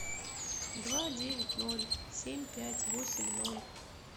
два девять ноль семь пять восемь ноль